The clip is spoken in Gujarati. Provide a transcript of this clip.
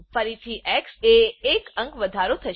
ફરીથી એક્સ એ એક અંક વધારો થશે